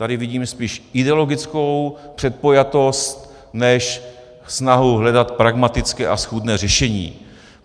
Tady vidím spíš ideologickou předpojatost než snahu hledat pragmatické a schůdné řešení.